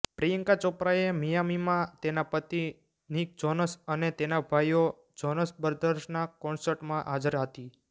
પ્રિયંકા ચોપરાએ મિયામીમાં તેના પતિ નિક જોનસ અને તેના ભાઈઓ જોનસ બ્રદર્સના કોન્સર્ટમાં હાજર હતી